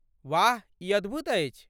वाह, ई अद्भुत अछि।